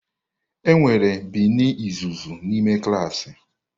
Enwere bini uzuzu n'ime klaasị.